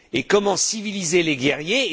Comment civiliser les guerriers?